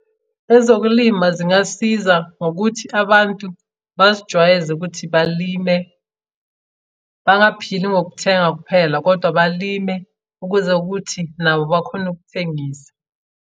Ezokulima zingasiza ngokuthi abantu bazijwayeze ukuthi balime, bangaphili ngokuthenga kuphela kodwa balime ukuze ukuthi nabo bakhone ukuthengisa.